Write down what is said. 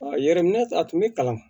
Yɛrɛminɛ a tun bɛ kalan